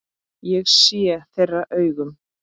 Ég sé þeirra augum.